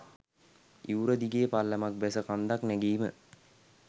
ඉවුර දිගේ පල්ලමක් බැස කන්දක් නැගීම